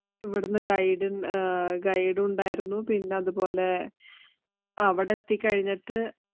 ഇവിടുന്നു guide ഉണ്ടായിരുന്നു. പിന്നെ അതുപോലെ അവിടെ എത്തി കഴിഞ്ഞിട്ട്